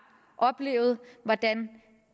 oplevet hvordan